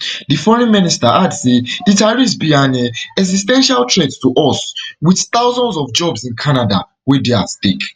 di foreign minister add say di tariffs be an um exis ten tial threat to us with thousands of jobs in canada wey dey at stake